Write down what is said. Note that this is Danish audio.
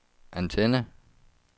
antenne